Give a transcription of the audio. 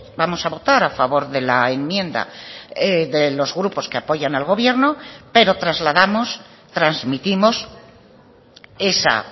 vamos a votar a favor de la enmienda de los grupos que apoyan al gobierno pero trasladamos transmitimos esa